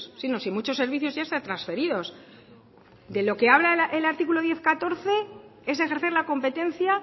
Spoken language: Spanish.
sí no si muchos servicios ya están transferidos de lo que habla el artículo diez punto catorce es ejercer la competencia